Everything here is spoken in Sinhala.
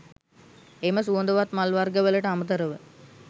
එම සුවඳවත් මල් වර්ග වලට අමතරව